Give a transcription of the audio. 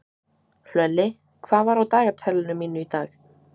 Hlölli, hvað er á dagatalinu mínu í dag?